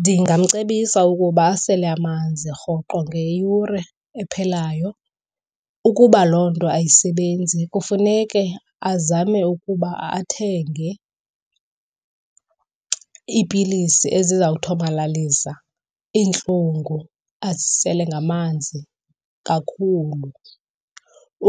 Ndingamcebisa ukuba asele amanzi rhoqo ngeyure ephelayo. Ukuba loo nto ayisebenzi kufuneke azame ukuba athenge iipilisi ezizawuthomalalisa iintlungu azisele ngamanzi kakhulu.